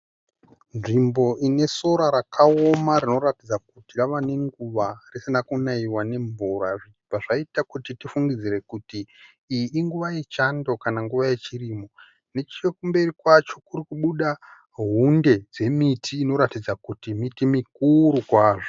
Nzvimbo ine sora rakaoma rinoratidza kuti rava nenguva risina kunaiwa nemvura zvabva zvaita kuti tifungidzire kuti iyi inguva yechando kana nguva yechirimo. Nechekumberi kwacho kuri kubuda hunde dzemiti inoratidza kuti miti mukuru kwazvo.